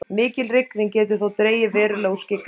mikil rigning getur þó dregið verulega úr skyggni